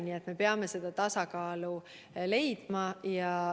Nii et me peame leidma tasakaalu.